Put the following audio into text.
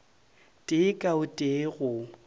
tee ka o tee go